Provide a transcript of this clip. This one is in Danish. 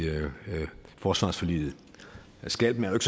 forsvarsforliget skalpen er